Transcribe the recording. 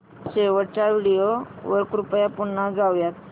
शेवटच्या व्हिडिओ वर कृपया पुन्हा जाऊयात